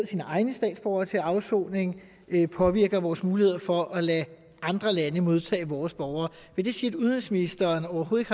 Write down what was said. sine egne statsborgere til afsoning påvirker vores muligheder for at lade andre lande modtage vores borgere vil det sige at udenrigsministeren overhovedet